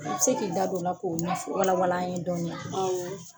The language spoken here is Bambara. U bɛ se k'i da don la k'o nɛ fɔ wala wala an ye dɔɔni wa, awɔ.